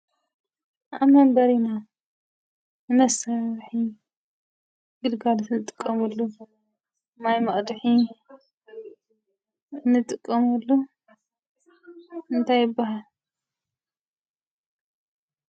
ኣብ መንበሪና ንመሳርሒ ግልጋሎት ንጥቀመሉ ማይ ማቕድሒ እንጥቀመሉ እንታይ ይባሃል?